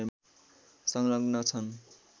संलग्न छन्